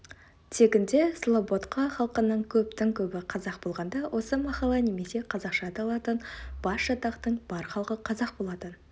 тегінде слободка халқының көптін-көбі қазақ болғанда осы махалла немесе қазақша аталатын басжатақтың бар халқы қазақ болатын